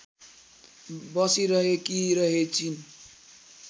बसिरहेकी रहेछिन्